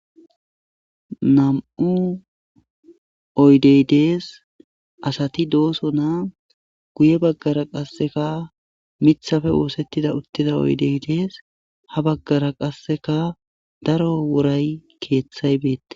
nam7u oydey dees asati dooso naa guye baggara qasseka mithafe woosettida uttida oydey dees ha baggara qasseka daro woray keeththay beette